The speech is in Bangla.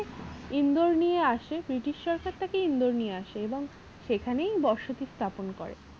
ইন্দোর নিয়ে আসে british সরকার তাকে ইন্দোর এবং সেখানেই বসতি স্থাপন করে